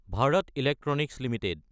Bharat electronics Ltd